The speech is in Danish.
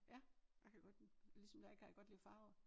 Ja jeg kan godt lide ligesom dig kan jeg godt lide farver